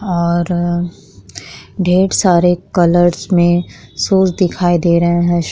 और ढेर सारे कलर्स में शूज़ दिखाई दे रहे हैं।